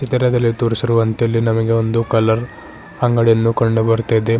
ಚಿತ್ರದಲ್ಲಿ ತೋರಿಸಿರುವಂತೆ ಇಲ್ಲಿ ನಮಗೆ ಒಂದು ಕಲರ್ ಅಂಗಡಿಯನ್ನು ಕಂಡು ಬರ್ತಾದೆ.